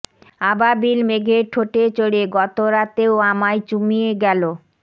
আবাবিল মেঘের ঠোঁটে চড়ে গত রাতেও আমায় চুমিয়ে গ্যালো